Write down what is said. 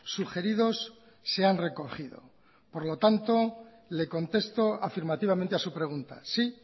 sugeridos se han recogido por lo tanto le contesto afirmativamente a su pregunta sí